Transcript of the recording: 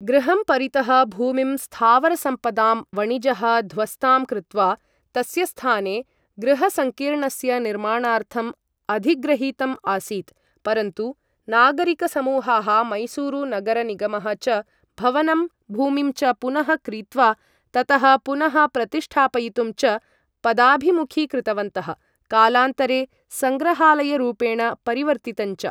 गृहं परितः भूमिं स्थावरसम्पदां वणिजः ध्वस्तां कृत्वा तस्य स्थाने गृहसङ्कीर्णस्य निर्माणार्थम् अधिग्रहीतम् आसीत्, परन्तु नागरिकसमूहाः मैसूरुनगरनिगमः च भवनं भूमिं च पुनः क्रीत्वा ततः पुनःप्रतिष्ठापयितुं च पदाभिमुखीकृतवन्तः, कालान्तरे सङ्ग्रहालयरूपेण परिवर्तितञ्च।